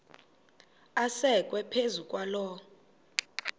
asekwe phezu kwaloo